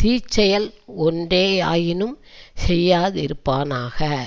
தீ செயல் ஒன்றேயாயினும் செய்யாதிருப்பானாக